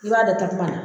I b'a da takuma na